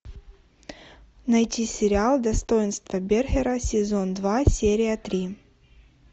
найти сериал достоинство бергера сезон два серия три